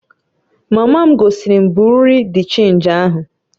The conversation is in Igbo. Mama m gosiri m Bị́yurị́ de Chénji ahụ